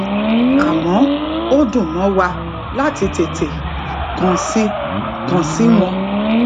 àmó ó dùn mó wa láti tètè kàn sí kàn sí wọn